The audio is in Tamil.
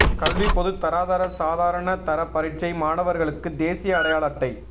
கல்வி பொதுத்தராதர சாதாரண தர பரீட்சை மாணவர்களுக்கு தேசிய அடையாள அட்டை